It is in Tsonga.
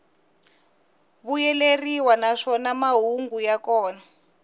vuyeleriwa naswona mahungu ya kona